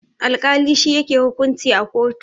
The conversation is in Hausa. Alkali shi yake hukunci a kotu.